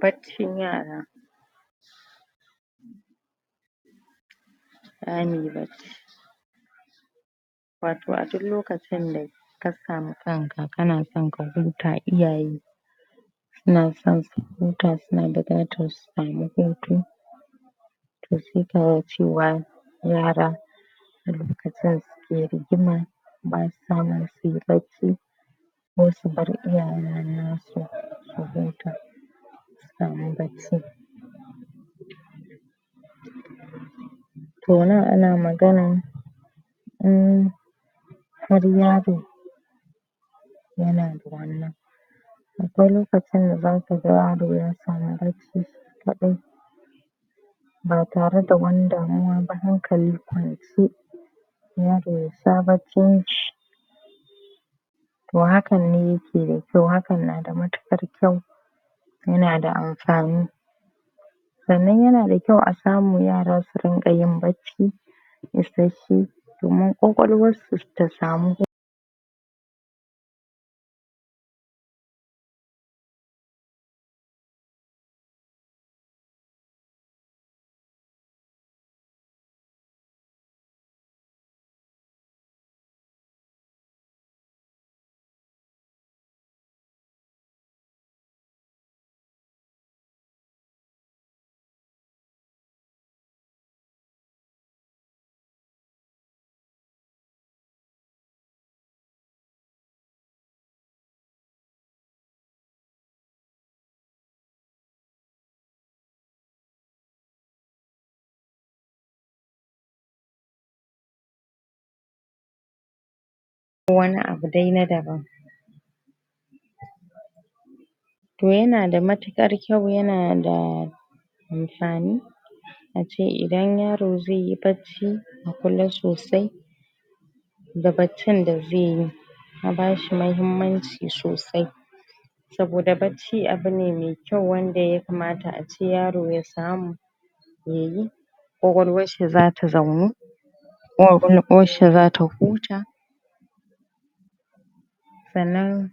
Baccin yara zamuyi bacci wato a duk lokacin daka samu kanka ,kanaso ka huta, iyaye suna son su huta, suna buƙatar su samu hutu to sai kaga cewa yara a lokacin suke rigima basa nan suyi bacci ko su bar iyayen nasu su huta su samu bacci to nan ana maganan in har yaro yana da wannan akwai lokacin da zaka yaro ya samu bacci shi kaɗai ba tare da wani damuwa ba, hankali kwance yaro ya sha baccin shi to hakan ne yake da kyau, hakan na mutuƙar kyau yanada amfani sannan yana da kyau a samu yara su rinƙa yin bacci isashshe domin ƙwaƙwalwarsu ta samu wani abu dai na daban to yanada matuƙar kyau, yanada amfani ace idan yaro zaiyi bacci,a kula sosai da baccin da zaiyi a bashi mahimmanci sosai saboda bacci abu ne me kyau, wanda ya kamata ace yaro ya samu yayi ƙwaƙwalwarshi zata zaunu zata huta sannan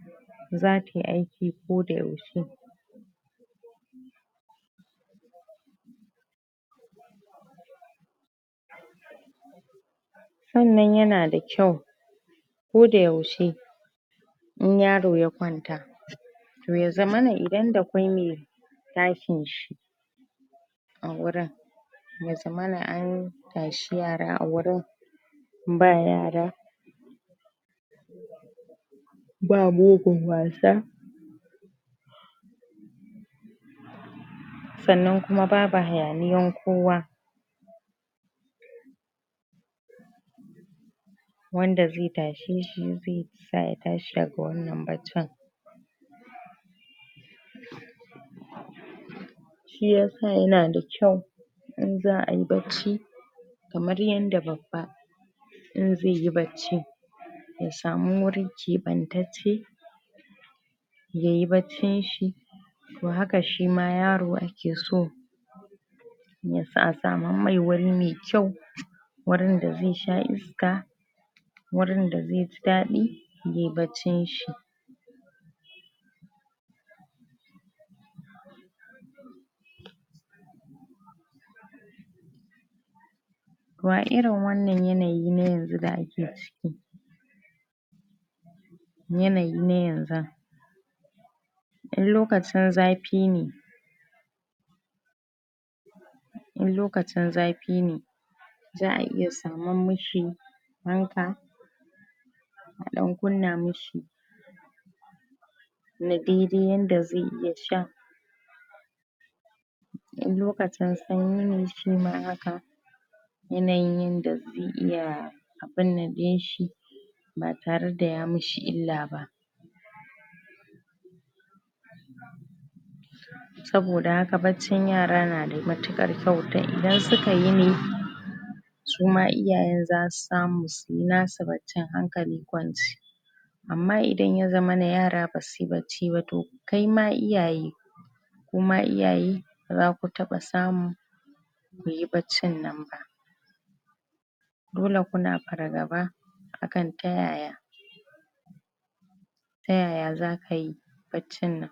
zatai aiki koda yaushe sannan yanada kyau koda yaushe in yaro ya kwanta to ya zamana idan dakwai me tashin shi a wurin ya zamana an tashi yara a wurin ba yara ba mugun wasa sannan kuma babu hayaniyan kowa wanda ze tashe shi, ze sa ya tashi daga wannan baccin shiyasa yana da kyau in za ayi bacci kamar yanda babba in zeyi bacci ya samu wuri keɓantacce yayi baccin shi to haka shima yaro ake so yasa a samar mai wuri me kyau wurin da zai sha iska wurin da zeji daɗi ye baccin shi to a irin wannan yanayi na yanzu da ake ciki yanayi na yanzun in lokacin zafi ne in lokacin zafi ne za a iya saman mishi fanka a ɗan kunna mishi na dai-dai yanda ze iya sha in lokacin sanyi ne shima haka yanayin yanda ze iya abinnan ɗinshi ba tare da ya mishi illa ba saboda haka baccin yara na da matuƙar kyau, ta idan suka yine suma iyayen zasu samu suyi nasu baccin hankali kwance amma idan ya zamana yara basuyi bacci ba, to kaima iyaye kuma iyaye bazaku taɓa samu kuyi baccin nan ba dole kuna fargaba akan ta yaya ta yaya za kai baccin nan.